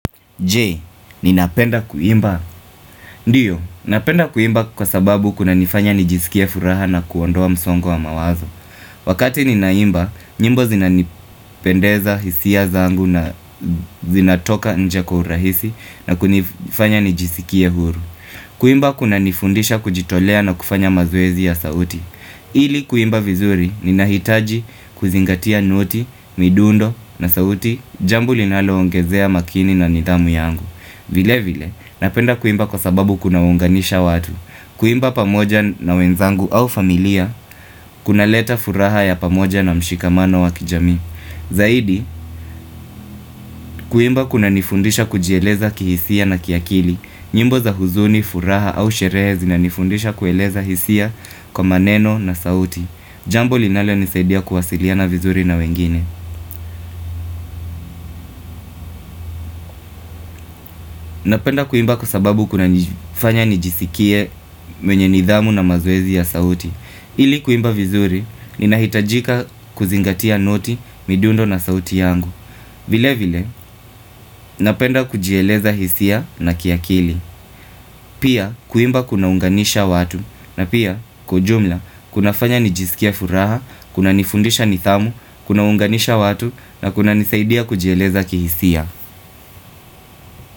Je? Ninapenda kuimba? Ndiyo, ninapenda kuimba kwa sababu kuna nifanya nijisikie furaha na kuondoa msongo wa mawazo. Wakati ninaimba, nyimbo zinanipendeza hisia zangu na zinatoka inje kwa hurahisi na kunifanya nijisikie huru. Kuimba kuna nifundisha kujitolea na kufanya mazoezi ya sauti. Ili kuimba vizuri, ninahitaji kuzingatia noti, midundo na sauti, jambo linaloongezea makini na nidhamu yangu. Vile vile, napenda kuimba kwa sababu kuna unganisha watu. Kuimba pamoja na wenzangu au familia. Kunaleta furaha ya pamoja na mshikamano wa kijamii. Zaidi kuimba kuna nifundisha kujieleza kihisia na kiakili. Nyimbo za huzuni, furaha au sherehe, zina nifundisha kueleza hisia kwa maneno na sauti. Jambo linalo nisaidia kuwasiliana vizuri na wengine. Napenda kuimba kwa sababu kuna nifanya nijisikie mwenye nidhamu na mazoezi ya sauti. Ili kuimba vizuri, ninahitajika kuzingatia noti, midundo na sauti yangu. Vile vile, Napenda kujieleza hisia na kiakili. Pia kuimba kunaunganisha watu. Na pia, kujumla, kunafanya nijisikia furaha, kuna nifundisha nidhamu, kunaunganisha watu na kuna nisaidia kujieleza kihisia.